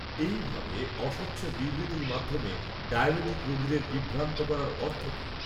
এই ভাবে, অস্বচ্ছ বিবৃ্তির মাধ্যমে ডায়াবিটিক রোগীদের বিভ্রান্ত করার অর্থ কি